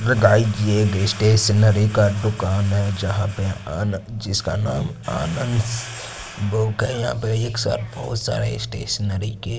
ये स्टेशनरी का दुकान है जहां पे आना जिसका नाम आनंद बुक है यहां पे एक साथ बहोत सारे स्टेशनरी के--